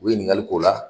U ye ɲininkali k'o la